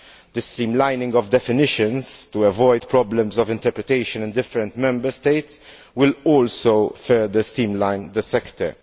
The streamlining of definitions to avoid problems of interpretation in different Member States will also further streamline the sector.